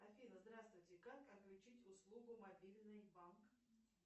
афина здравствуйте как отключить услугу мобильный банк